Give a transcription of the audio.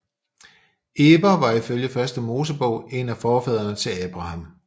Eber var ifølge Første Mosebog en af forfædrene til Abraham